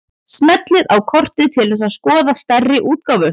Smellið á kortið til að skoða stærri útgáfu.